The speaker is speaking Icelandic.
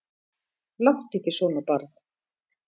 Láttu ekki svona barn.